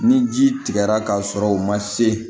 Ni ji tigɛra k'a sɔrɔ u ma se